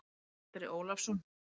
Andri Ólafsson